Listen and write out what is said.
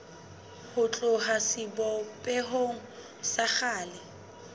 ho tloha sebopehong sa kgale